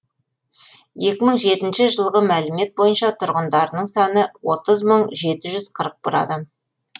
екі мың жетінші жылғы мәлімет бойынша тұрғындарының саны отыз мың жеті жүз қырық бір адам